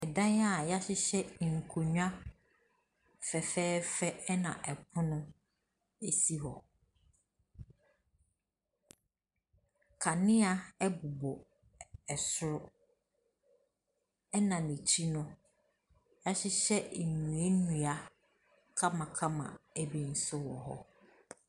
Ɛdan a y'ahyehyɛ nkonnwa fɛfɛɛfɛ ɛna ɛpono ɛsi hɔ. Kanea ɛbobɔ ɛsoro ɛna ne ti no y'ahyehyɛ nnuenua kamakama ɛbi nso wɔ hɔ.